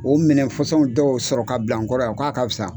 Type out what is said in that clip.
O minɛfasɔnw dɔw sɔrɔ ka bila n kɔrɔ yan k'a ka fisa.